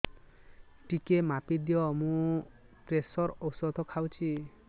ଟିକେ ମାପିଦିଅ ମୁଁ ପ୍ରେସର ଔଷଧ ଖାଉଚି